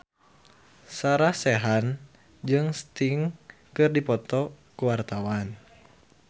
Sarah Sechan jeung Sting keur dipoto ku wartawan